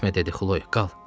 Getmə dedi Xloy, qal.